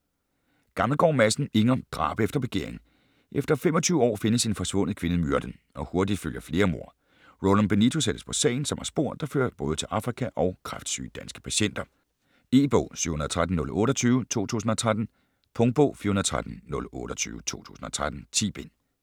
Gammelgaard Madsen, Inger: Drab efter begæring Efter 25 år findes en forsvundet kvinde myrdet, og hurtigt følger flere mord. Roland Benito sættes på sagen, som har spor, der fører både til Afrika og kræftsyge danske patienter. E-bog 713028 2013. Punktbog 413028 2013. 10 bind.